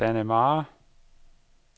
Dannemare